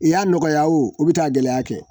I y'a nɔgɔya u bi taa gɛlɛya kɛ